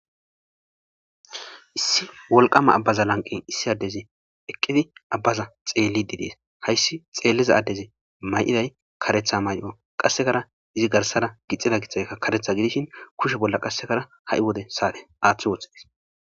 Issi wolqama abbaza lanqen issi addezi eqqidi abbaza xeellididees hayssi xeelliza addezi may'iday karetha may'o qassekara izi garsara gixida gitxakka karetha gidishin kushe bolla qassekara ha'i wode saade aaththi wothxees.